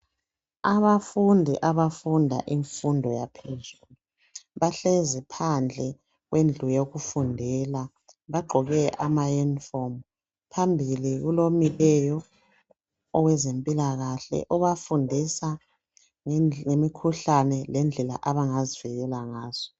Abafundi abafunda imfundo yaphezulu bahlezi phandle kwendlu yokufundela bagqoke amayunifomi phambili kulomileyo owezempilakahle obafundisa ngemikhuhlane lendlela abangazivikela ngazo.